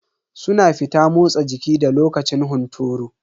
Suna fita motsa jiki da lokacin hunturu.